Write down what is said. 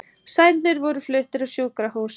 Særðir voru fluttir á sjúkrahús